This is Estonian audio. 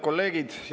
Head kolleegid!